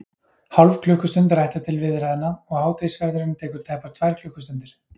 Hálf klukkustund er ætluð til viðræðna, og hádegisverðurinn tekur tæpar tvær klukkustundir.